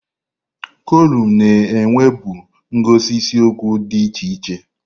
Kolụmụ na-enwebu ngosi isiokwu dị iche iche.